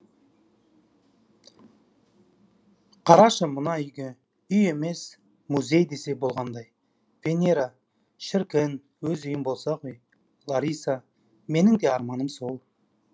қарашы мына үйге үй емес му зей десе деболғандай венера шіркін өз үйім болса ғой лариса менің де арманым сол